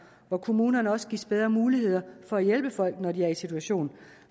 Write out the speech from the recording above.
hvor kommunerne også gives bedre muligheder for at hjælpe folk når de er i en situation